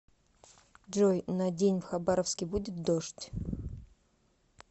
джой на день в хабаровске будет дождь